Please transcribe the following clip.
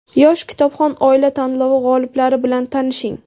"Yosh kitobxon oila" tanlovi g‘oliblari bilan tanishing.